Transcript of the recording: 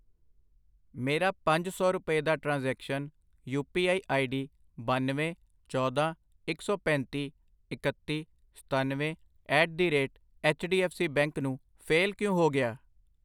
ਮੇਰਾ ਪੰਜ ਸੌ ਰੁਪਏ ਦਾ transaction, U P I ID ਬਨਵੇਂ, ਚੌਦਾਂ, ਇੱਕ ਸੌ ਪੈਂਤੀ, ਇਕੱਤੀ, ਸਤਨਵੇਂ at the rate H D F C bank ਨੂੰ ਫੇਲ ਕਿਉ ਹੋ ਗਿਆ?